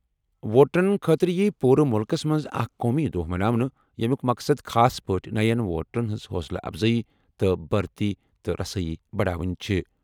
ووٹرَن خٲطرٕ یِیہِ پوٗرٕ مُلکَس منٛز اکھ قومی دۄہ مناونہٕ، ییٚمیُک مقصد خاص پٲٹھۍ نَین ووٹرَن ہٕنٛز حوصلہٕ اَفزٲیی تہٕ بھرتی تہٕ رسٲیی بڑاوٕنۍ چھِ۔